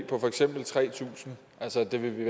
på for eksempel tre tusind altså det vil vi